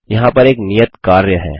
यहाँ पर एक नियत कार्य है